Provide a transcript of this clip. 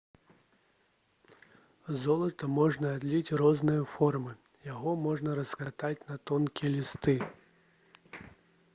з золата можна адліць розныя формы яго можна раскатаць на тонкія лісты